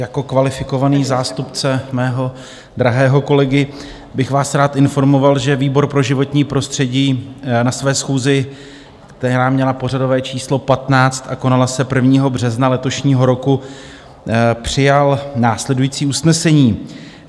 Jako kvalifikovaný zástupce svého drahého kolegy bych vás rád informoval, že výbor pro životní prostředí na své schůzi, která měla pořadové číslo 15 a konala se 1. března letošního roku, přijal následující usnesení: